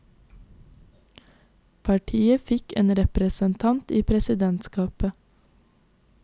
Partiet fikk en representant i presidentskapet.